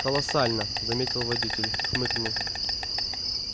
колоссально заметил водитель хмыкнул